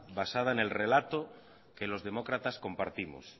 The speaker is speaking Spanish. basada en el relato que los demócratas compartimos